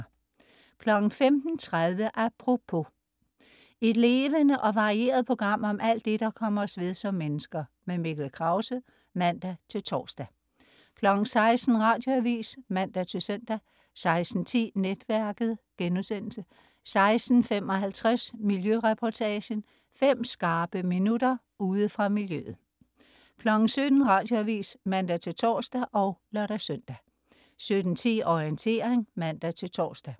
15.30 Apropos. Et levende og varieret program om alt det, der kommer os ved som mennesker. Mikkel Krause (man-tors) 16.00 Radioavis (man-søn) 16.10 Netværket* 16.55 Miljøreportagen. Fem skarpe minutter ude fra miljøet 17.00 Radioavis (man-tors og lør-søn) 17.10 Orientering (man-tors)